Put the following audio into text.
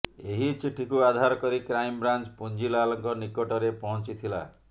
ଏହି ଚିଠିକୁ ଆଧାର କରି କ୍ରାଇମବ୍ରାଞ୍ଚ ପୁଞ୍ଜିଲାଲଙ୍କ ନିକଟରେ ପହଞ୍ଚିଥିଲା